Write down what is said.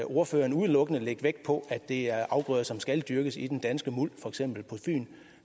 ordføreren udelukkende lægge vægt på at det er afgrøder som skal dyrkes i den danske muld for eksempel på fyn